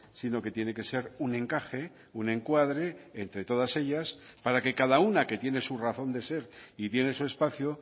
sino que tiene que ser un encaje un encuadre entre todas ellas para que cada una que tiene su razón de ser y tiene su espacio